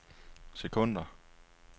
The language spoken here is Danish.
sekunder